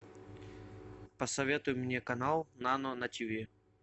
посоветуй мне канал нано на тиви